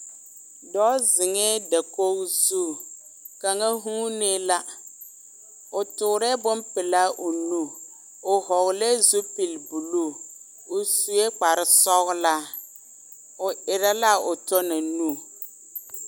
Dɔɔ zeŋɛɛ dakogi zu kaŋa huunee la, o toorɛɛ bompelaa o nu, o hɔɔlɛɛ zupili buluu, o sue kpare sɔgelaa, o erɛ l'a o tɔ na nu.